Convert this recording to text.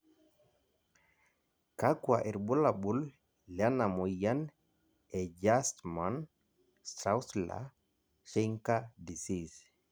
kakua irbulabol lena moyian e Gerstmann Straussler Scheinker disease?